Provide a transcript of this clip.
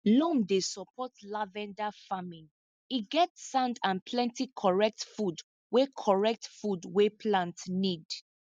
loam dey support lavender farming e get sand and plenty correct food wey correct food wey plant need